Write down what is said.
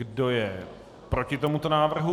Kdo je proti tomuto návrhu?